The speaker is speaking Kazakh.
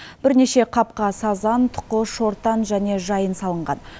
бірнеше қапқа сазан тұқы шортан және жайын салынған